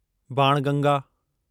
Banganga